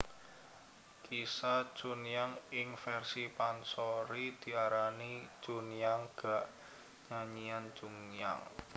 Kisah Chunhyang ing versi pansori diarani Chunhyang ga Nyanyian Chunhyang